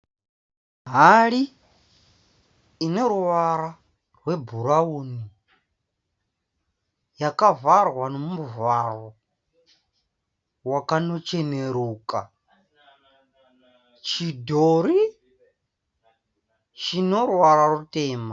Hari ineruvara rwebhurauni. Yakavharwa nomuvharo wakanocheneruka. Chidhori chinoruvara rutema.